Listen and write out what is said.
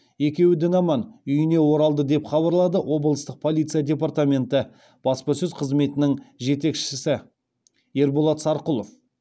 екеуі дін аман үйіне оралды деп хабарлады облыстық полиция департаменті баспасөз қызметінің жетекшісі ерболат сарқұлов